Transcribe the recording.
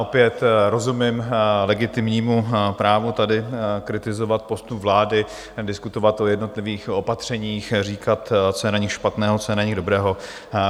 Opět rozumím legitimnímu právu tady kritizovat postup vlády, diskutovat o jednotlivých opatřeních, říkat, co je na nich špatného, co je na nich dobrého.